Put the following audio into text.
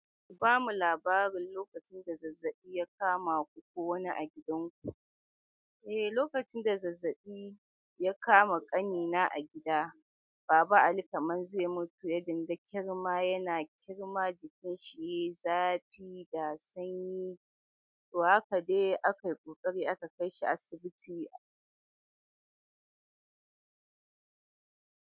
Ba mu labarin lokacin da zazzabi ya kama ku ko wani a gidanku. Eh, lokacin da zazzabi ya kama ƙanina a gida, Baba Ali kaman zai mutu, yadinga da ƙyarma yana ƙyarma jikinsa yayi zafi ga sanyi. To haka dai akayi ƙokari aka kai shi asibiti.